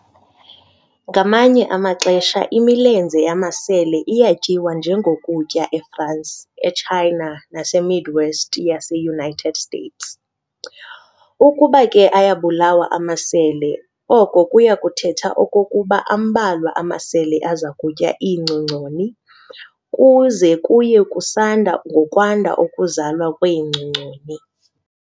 ngamanye amaxesha imilenze yamasele iyatyiwa njengokutya eFrance, eChina, naseMidwest yaseUnited States. Ukuba ke ayabulawa amasele, oko kuyakuthetha okokuba ambalwa amasele azakutya iingcongconi, kuze kuye kusanda ngokwanda ukuzalwa kweengcongconi.